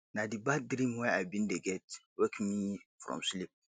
na di bad dream wey i bin dey get wake me from sleep